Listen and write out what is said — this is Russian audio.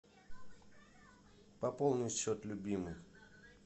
пополнить счет любимой